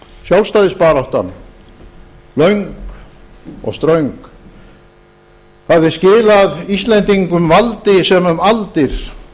sjálfstæðisbaráttan löng og ströng hafði skilað íslendingum valdi sem um aldir